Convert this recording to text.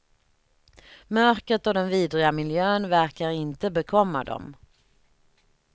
Mörkret och den vidriga miljön verkar inte bekomma dem.